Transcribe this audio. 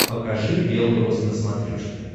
покажи бел рос на смотрешке